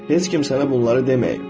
Heç kim sənə bunları deməyib.